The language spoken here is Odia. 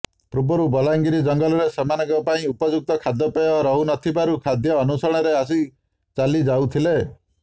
ପୂର୍ବରୁ ବଲାଙ୍ଗୀର ଜଙ୍ଗଲରେ ସେମାନଙ୍କ ପାଇଁ ଉପଯୁକ୍ତ ଖାଦ୍ୟପେୟ ରହୁନଥିବାରୁ ଖାଦ୍ୟ ଅନ୍ୱେଷଣରେ ଆସି ଚାଲିଯାଉଥିଲେ